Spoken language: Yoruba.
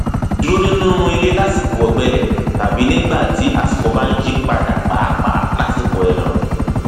dúró nínú ilé lásìkò ọgbẹlẹ tàbí nígbà tí àsìkò bá ń yí padà pàápàá lásìkò ẹẹrùn